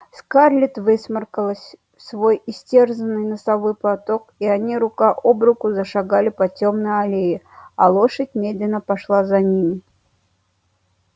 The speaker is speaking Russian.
скарлетт высморкалась в свой истерзанный носовой платок и они рука об руку зашагали по тёмной аллее а лошадь медленно пошла за ними